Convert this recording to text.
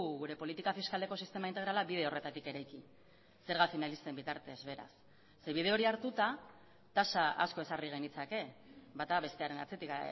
gure politika fiskaleko sistema integrala bide horretatik eraiki zerga finalisten bitartez beraz ze bide hori hartuta tasa asko ezarri genitzake bata bestearen atzetik